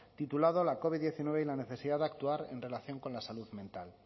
titulada la covid diecinueve y la necesidad de actuar en relación con la salud mental